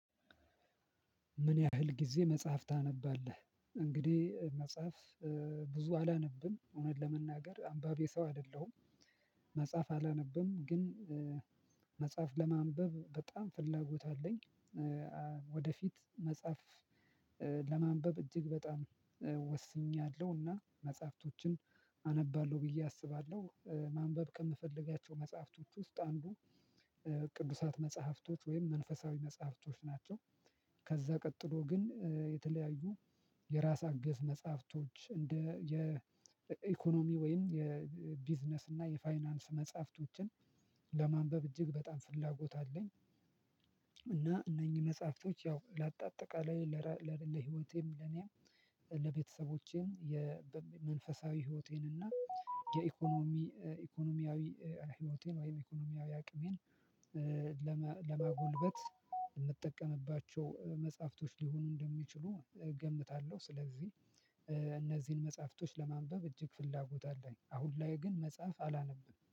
ምን? ያህል ጊዜ መጽሐፍ ታነባለህ እንግዲህ መጽሐፍ ብዙ አላነብም እውነት ለመናገር አንባቢ ሰው አይደለሁም። መጽሐፍ አላነብም ግን። መጽሐፍ ለማንበብ በጣም ፍላጎት አለኝ። ወደፊት መጽሐፍ ለማንበብ እጅግ በጣም ወስኛለሁ እና መጽሐፍቶችን አነባለሁ ብዬ አስባለሁ። ማንበብ ከምፈልጋቸው መጽሐፍቶች ውስጥ አንዱ ቅዱሳት መጽሐፍቶች ወይም መንፈሳዊ መጽሐፍቶች ናቸው። ከዛ ቀጥሎ ግን የተለያዩ የራስ አገዝ መጽሐፍቶች እንደ የኢኮኖሚ ወይም የቢዝነስ እና የፋይናንስ መጽሐፍቶችን ለማንበብ እጅግ በጣም ፍላጎት አለኝ። እና እነኚህ መጽሐፍቶች ያው ላጣ አጠቃላይ ለህይወቴም ለኔም ለቤተሰቦቼም የመንፈሳዊ ህይወቴን እና የኢኮኖሚ ኢኮኖሚያዊ ህይወቴን ወይም ኢኮኖሚያዊ አቅሜን። ለማጎልበት የምጠቀምባቸው መጽሐፍቶች ሊሆኑ እንደሚችሉ እገምታለሁ። ስለዚህ እነዚህን መጽሐፍቶች ለማንበብ እጅግ ፍላጎት አለኝ። አሁን ላይ ግን መጽሐፍ አላነበም